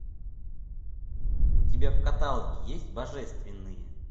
у тебя в каталоге есть божественные